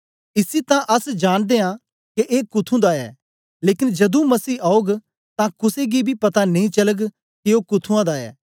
इसी तां अस जान दे आं के ए कुथुं दा ऐ लेकन जदूं मसीह औग तां कुसे गी बी पता नेई चलग के ओ कुथुंआं दा ऐ